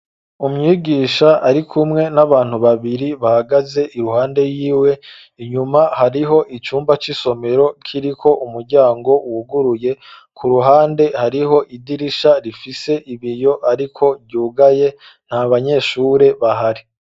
Umwigisha, ari kumwe, n'abantu babiri, bahagaze iruhande yiwe; inyuma, hariho icumba c'isomero, kiriko umuryango, wuguruye; ku ruhande, hariho idirisha, rifise ibiyo, ariko ryugaye; nta banyeshure bahari.